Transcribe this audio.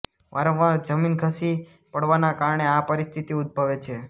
વારંવાર જમીન ધસી પડવાના કારણે આ પરિસ્થિતિ ઉદભવે છે